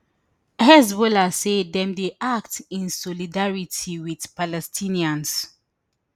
hezbollah say dem dey act in solidarity wit palestinians